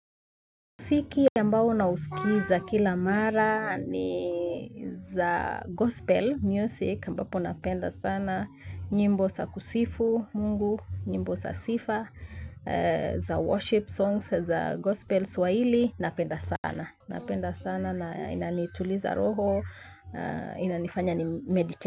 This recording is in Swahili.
Mziki ambao nausikiza kila mara ni za gospel music ambapo napenda sana nyimbo za kusifu mungu, nyimbo sa sifa, za worship songs, za gospel swahili napenda sana. Napenda sana na inanituliza roho, inanifanya ni meditate.